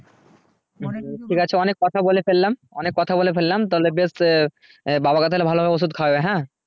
ঠিক আছে অনেক কথা বলে ফেললাম অনেক কথা বলে ফেললাম তাহলে বেশ আহ বাবাকে ভালো ভাবে ঔষুদ খাওয়াও হ্যা